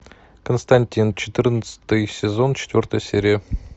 константин четырнадцатый сезон четвертая серия